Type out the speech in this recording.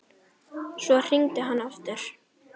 Svo hringdi hann aftur.